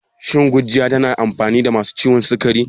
Shin gurjiya tana da amfani ga masu ciwon sukari?